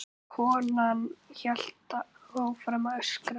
Konan hélt áfram að öskra.